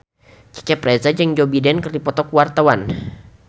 Cecep Reza jeung Joe Biden keur dipoto ku wartawan